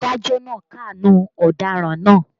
Adájọ́ náà káàánú ọ̀daràn náà